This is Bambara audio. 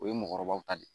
O ye mɔgɔkɔrɔbaw ta de ye